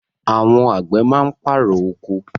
Àwọn àgbẹ̀ máa ń pàrọ̀ oko.